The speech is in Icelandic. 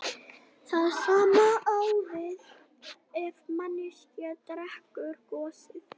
Það sama á við ef manneskja drekkur gosið.